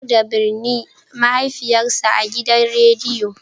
Audu ya sanar da binne mahaifiyarsa a gidan rediyo